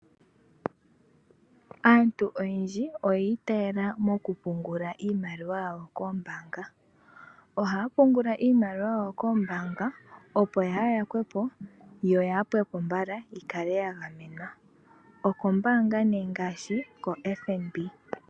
Aantu oyendji oya itaala moku pungula iimaliwa yawo koombaanga, ohaya pungula iimaliwa yawo koombaanga opo yaa yakwepo yo yaa pwepo mbala , yikale ya gamenwa, okombaanga nee ngaashi ko FNB.